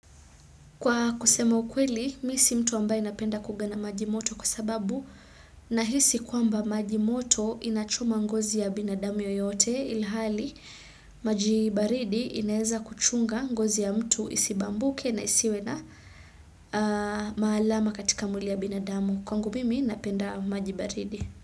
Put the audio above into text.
Kwa kusema ukweli, mimi si mtu ambaye anapenda kuoga na maji moto kwa sababu na hisi kwamba maji moto inachoma ngozi ya binadamu yoyote ilhali maji baridi inaeza kuchunga ngozi ya mtu isibambuke na isiwe na maalama katika mwili ya binadamu. Kwangu mimi napenda majibaridi.